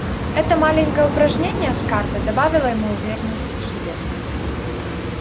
это маленькое упражнение с картой добавило ему уверенности в себе